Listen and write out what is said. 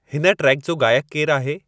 हिन ट्रेक जो गाइकु केरु आहे